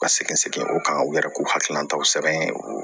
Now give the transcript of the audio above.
Ka segin segin o kan u yɛrɛ k'u hakilinataw sɛbɛn u